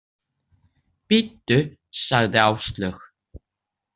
Bíddu, sagði Áslaug.